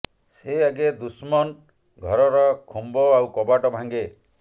ସେ ଆଗେ ଦୁସ୍ମନ୍ ଘରର ଖୁମ୍ୱ ଆଉ କବାଟ ଭାଙ୍ଗେ